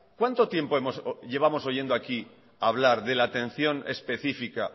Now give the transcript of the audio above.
cuánto tiempo llevamos oyendo aquí hablar de la atención específica